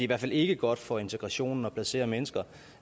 hvert fald ikke godt for integrationen at placere mennesker